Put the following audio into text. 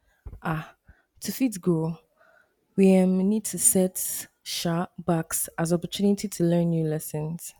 um to fit grow we um need to see set um backs as opportunity to learn new lessons